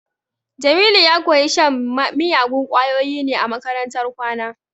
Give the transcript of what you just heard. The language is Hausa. Jamilu ya koyi shan miyagun kwayoyi ne a makarantar kwana